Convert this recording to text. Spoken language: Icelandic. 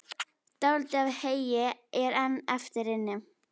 Dálítið af heyi er enn eftir inni.